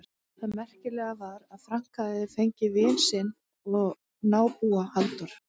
Það merkilega var að Frank hafði fengið vin sinn og nábúa, Halldór